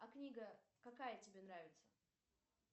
а книга какая тебе нравится